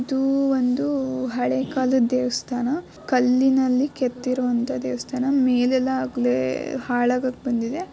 ಇದು ಒಂದು ಹಳೆ ಕಾಲದ್ ದೇವಸ್ಥಾನ ಕಲ್ಲಿನಲ್ಲಿ ಕೆತ್ತಿರುವಂತಾ ದೇವಸ್ಥಾನ ಮೇಲೆಲ್ಲಾ ಆಗ್ಲೇ ಹಾಳಾಗಕ್ ಬಂದಿದೆ--